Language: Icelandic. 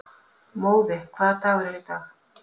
Móði, hvaða dagur er í dag?